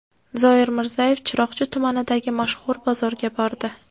Zoir Mirzayev Chiroqchi tumanidagi mashhur bozorga bordi.